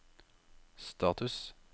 status